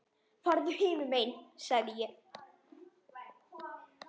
Farðu hinum megin sagði ég.